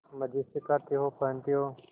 मजे से खाते हो पहनते हो